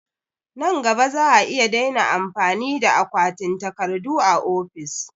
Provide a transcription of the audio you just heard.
Nan gaba za'a iya daina amfani da akwatin takardu a ofis